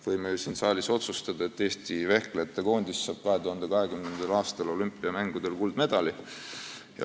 Võime ju siin saalis otsustada, et Eesti vehklejate koondis saab 2020. aastal olümpiamängudel kuldmedali.